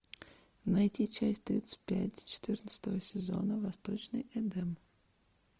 найти часть тридцать пять четырнадцатого сезона восточный эдем